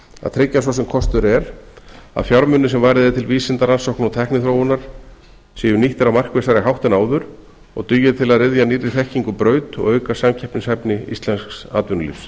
að tryggja svo sem kostur er að fjármunir sem varið er til vísindarannsókna og tækniþróunar séu nýttir á markvissari hátt en áður og dugi til að ryðja nýrri þekkingu braut og auka samkeppnishæfni íslensks atvinnulífs